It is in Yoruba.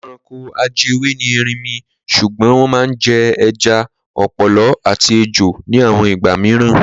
Ẹranko ajẹwé ni erinmi ṣùgbọ́n wọ́n máa ń jẹ ẹja, ọ̀pọ̀lọ́ àti ejò ní àwọn ìgbà mìíràn.